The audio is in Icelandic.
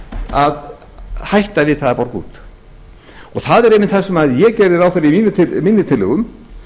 að hætta við það að borga út og það er einmitt það sem ég gerði ráð fyrir í mínum tillögum